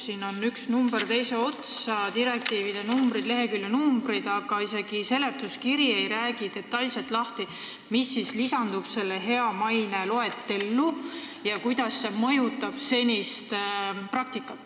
Siin on üks number teise otsa, direktiivide numbrid ja leheküljenumbrid, aga isegi seletuskiri ei räägi detailselt lahti, mis siis lisandub selle hea maine nõuete loetellu ja kuidas see mõjutab senist praktikat.